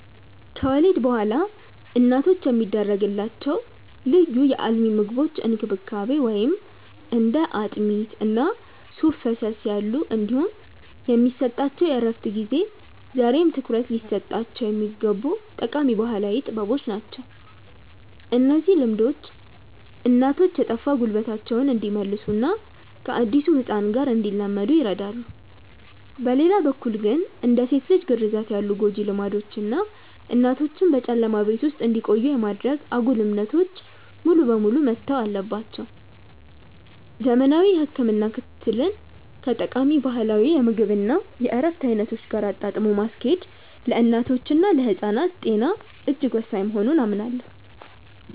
ከወሊድ በኋላ እናቶች የሚደረግላቸው ልዩ የአልሚ ምግቦች እንክብካቤ (እንደ አጥሚት እና ሱፍ ፈሰስ ያሉ) እንዲሁም የሚሰጣቸው የእረፍት ጊዜ ዛሬም ትኩረት ሊሰጣቸው የሚገቡ ጠቃሚ ባህላዊ ጥበቦች ናቸው። እነዚህ ልምዶች እናቶች የጠፋ ጉልበታቸውን እንዲመልሱና ከአዲሱ ህፃን ጋር እንዲላመዱ ይረዳሉ። በሌላ በኩል ግን፣ እንደ ሴት ልጅ ግርዛት ያሉ ጎጂ ልማዶች እና እናቶችን በጨለማ ቤት ውስጥ ብቻ እንዲቆዩ የማድረግ አጉል እምነቶች ሙሉ በሙሉ መተው አለባቸው። ዘመናዊ የህክምና ክትትልን ከጠቃሚ ባህላዊ የምግብ እና የእረፍት አይነቶች ጋር አጣጥሞ ማስኬድ ለእናቶችና ለህፃናት ጤና እጅግ ወሳኝ መሆኑን አምናለሁ።